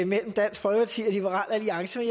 mellem dansk folkeparti og liberal alliance